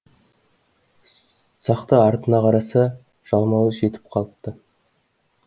сақты артына қараса жалмауыз жетіп қалыпты